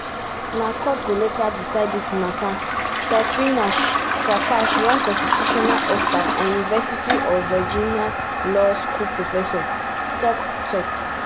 na courts go later decide dis mata saikrishna prakash one constitutional expert and university of virginia law school professor tok. tok.